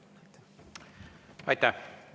Aitäh!